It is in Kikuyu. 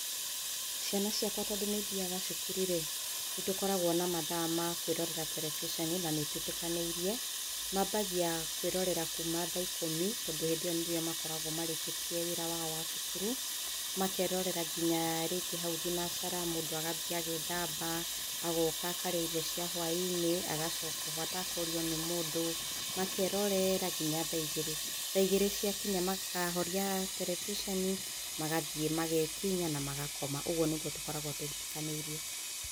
Ciana ciakwa tondũ nĩithiaga cukuru rĩ, nĩtũkoragwo na mathaa ma kwĩrorera terebiceni na nĩ twĩtĩkanĩirie, mambagia kwĩrorera kuma thaa ikũmi, tondũ hĩndĩ ĩyo nĩrĩo makoragwo marĩkĩtie wĩra wao wa cukuru makerorera nginya rĩngĩ hau thinacara, mũndũ agathiĩ agethamba agoka akarĩa irio cia hwa-inĩ, agacoka oho atekũrio nĩ mũndũ makerorera nginya thaa igĩrĩ, thaa igĩrĩ cia kinya makahoria terebiceni magathiĩ magekinya na magakoma, ũguo nĩguo tũkoragwo twĩtĩkanĩirie.